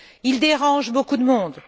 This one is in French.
Il dérange beaucoup de monde.